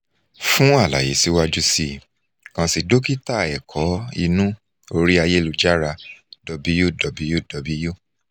fun alaye siwaju sii kan si dokita ẹkọ inu ori ayelujara www